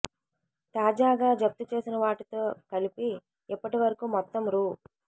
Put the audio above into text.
తాజాగా జప్తు చేసిన వాటితో కలిపి ఇప్పటి వరకూ మొత్తం రూ